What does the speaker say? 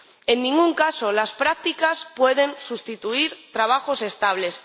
En ningún caso, las prácticas pueden sustituir a trabajos estables.